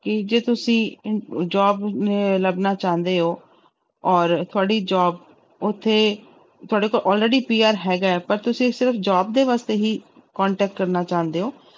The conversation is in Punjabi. ਕਿ ਜੇ ਤੁਸੀਂ ਇ~ job ਅਹ ਲੱਭਣਾ ਚਾਹੁੰਦੇ ਹੋ ਔਰ ਤੁਹਾਡੀ job ਉੱਥੇ ਤੁਹਾਡੇ ਕੋਲ already PR ਹੈਗਾ ਹੈ ਪਰ ਤੁਸੀਂ ਸਿਰਫ਼ job ਦੇ ਵਾਸਤੇ ਹੀ contact ਕਰਨਾ ਚਾਹੁੰਦੇ ਹੋ,